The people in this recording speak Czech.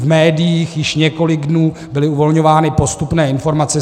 V médiích již několik dní byly uvolňovány postupné informace.